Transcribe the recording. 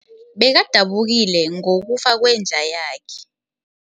Bekadabukile ngokufa kwenja yakhe.